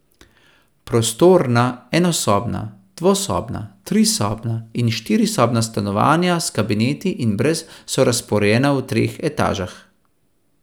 Prostorna enosobna, dvosobna, trisobna in štirisobna stanovanja s kabineti ali brez so razporejena v treh etažah.